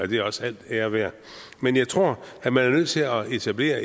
det er også al ære værd men jeg tror at man er nødt til at etablere